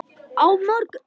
Á morgun